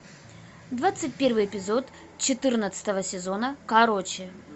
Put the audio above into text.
двадцать первый эпизод четырнадцатого сезона короче